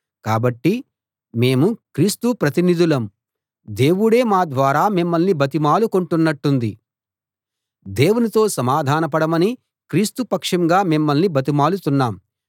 కాబట్టి మేము క్రీస్తు ప్రతినిధులం దేవుడే మా ద్వారా మిమ్మల్ని బతిమాలుకొంటున్నట్టుంది దేవునితో సమాధానపడమని క్రీస్తు పక్షంగా మిమ్మల్ని బతిమాలుతున్నాం